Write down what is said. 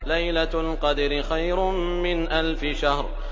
لَيْلَةُ الْقَدْرِ خَيْرٌ مِّنْ أَلْفِ شَهْرٍ